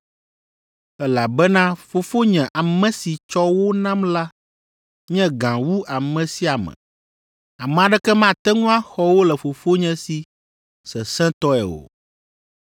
elabena Fofonye, ame si tsɔ wo nam la nye gã wu ame sia ame; ame aɖeke mate ŋu axɔ wo le Fofonye si sesẽtɔe o.